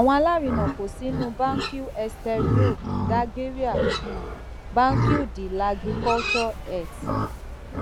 um àwọn alárinà ko sinu banque exterieure dalgerie banque de lagriculture et